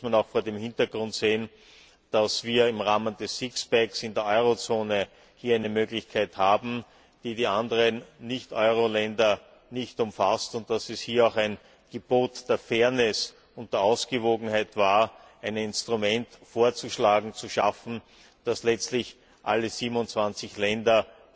Das muss man auch vor dem Hintergrund sehen, dass wir im Rahmen des Sixpacks in der Eurozone hier eine Möglichkeit haben, die die anderen Nicht Euro Länder nicht umfasst, und dass es hier auch ein Gebot der Fairness und der Ausgewogenheit war, ein Instrument vorzuschlagen und zu schaffen, das theoretisch letztlich alle 27 Länder